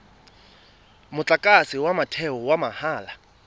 motlakase wa motheo wa mahala